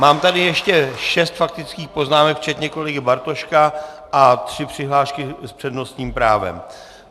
Mám tady ještě šest faktických poznámek včetně kolegy Bartoška a tři přihlášky s přednostním právem.